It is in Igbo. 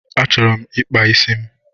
Achọrọ m ịkpa isi m